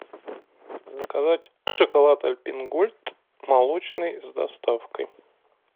заказать шоколад альпен гольд молочный с доставкой